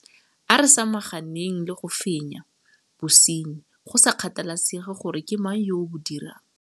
A re samaganeng le go fenya bosenyi, go sa kgathalesege gore ke mang yo o bo dirang.